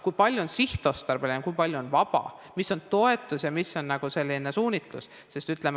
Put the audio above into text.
Kui palju on sihtotstarbelist raha, kui palju on vaba raha, mis on toetus ja mis on suunitlusega?